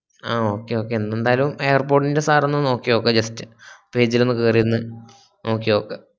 ആഹ് okay okay ന്തിണ്ടായാലു air pod ൻറെ sir ഒന്ന് നോക്കിയൊക്ക് just page ൽ ഒന്ന് കേറിയൊന്ന് നോക്കിയൊക്ക